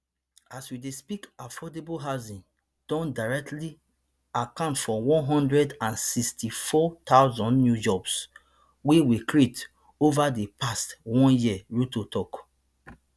as we dey speak affordable housing don directly account for one hundred and sixty-four thousand new jobs wey we create ova di past one year ruto tok